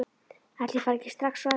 Ætli ég fari ekki strax á eftir.